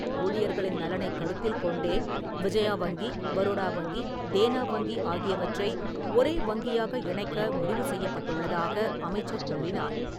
ஊழியர்களின் நலனைக் கருத்தில் கொண்டே, விஜயா வங்கி, பரோடா வங்கி, தேனா வங்கி ஆகியவற்றை ஒரே வங்கியாக இணைக்க முடிவு செய்யப்பட்டுள்ளதாக அமைச்சர் கூறினார்.